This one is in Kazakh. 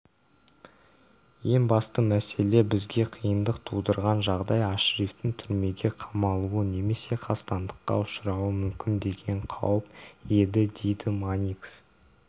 ең басты мәселе бізге қиындық тудырған жағдай ашрифтің түрмеге қамалуы немесе қастандыққа ұшырауы мүмкін деген қауіп едідейді манникс